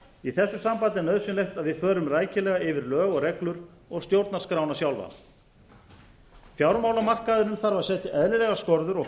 í þessu sambandi átt nauðsynlegt að við förum rækilega ári lög og reglur og stjórnarskrána sjálfa fjármálamarkaðurinn þarf að setja eðlilegar skorður og